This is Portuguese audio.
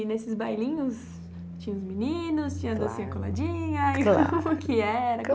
E nesses bailinhos tinha os meninos, tinha a docinha coladinha, Claro Como que era?